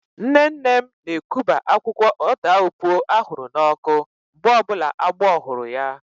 Nne nne m na-ekuba akwụkwọ ọdaaopuo ahụrụ n'ọkụ mgbe ọbụla agbọ hụrụ ya